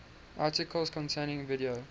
articles containing video